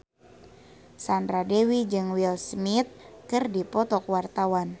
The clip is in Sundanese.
Sandra Dewi jeung Will Smith keur dipoto ku wartawan